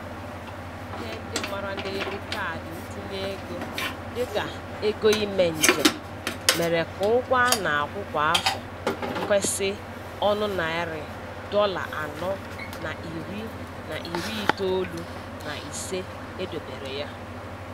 Ihe ndị mara n'elu kaadị ntinyeego dịka ego ime njem mere ka ụgwọ a na-akwụ kwa afọ kwesi ọnụ narị dọla anọ na iri na iri itoolu na ise e dobere ya.